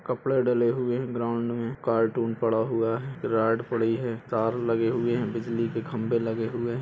कपड़े डले हुए है ग्राउंड मे कार्टून पड़ा हुआ है पड़ी है तार लगे हुए है बिजली के खंबे लगे हुए--